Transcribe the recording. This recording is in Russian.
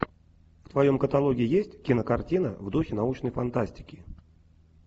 в твоем каталоге есть кинокартина в духе научной фантастики